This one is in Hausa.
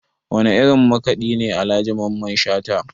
Wane irin makaɗi ne Alhaji Mamman Shata?